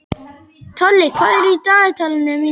Tolli, hvað er í dagatalinu mínu í dag?